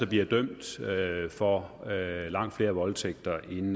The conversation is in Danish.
bliver dømt for langt flere voldtægter end